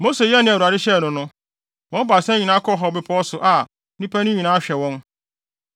Mose yɛɛ nea Awurade hyɛɛ no no. Wɔn baasa nyinaa kɔɔ bepɔw Hor so a nnipa no nyinaa hwɛ wɔn.